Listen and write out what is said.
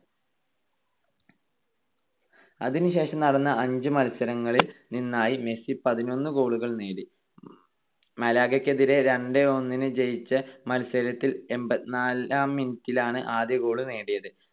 അതിനുശേഷം നടന്ന അഞ്ച് മത്സരങ്ങളിൽ നിന്നായി മെസ്സി പതിനൊന്ന് goal കൾ നേടി. മലാഗക്കെതിരെ രണ്ട് - ഒന്നിന് ജയിച്ച മത്സരത്തിൽ എൺപത്തിനാലാം minute ലാണ് ആദ്യ goal നേടിയത്.